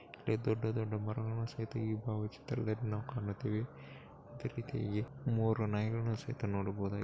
ಇಲ್ಲಿ ದೊಡ್ಡ ದೊಡ್ಡದಾದಂತಹ ಮರಗಳನ್ನು ನಾವು ಕಾಣಕತ್ತೀವಿ ಮೂರು ನಾಯಿಗಳನ್ನು ಸಹಿತ ನೋಡಬಹುದು.